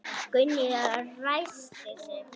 Gunni ræskti sig.